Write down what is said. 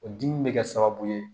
O dimi bɛ kɛ sababu ye